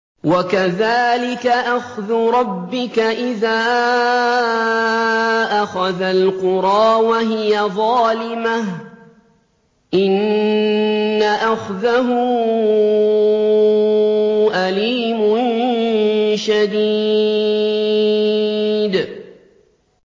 وَكَذَٰلِكَ أَخْذُ رَبِّكَ إِذَا أَخَذَ الْقُرَىٰ وَهِيَ ظَالِمَةٌ ۚ إِنَّ أَخْذَهُ أَلِيمٌ شَدِيدٌ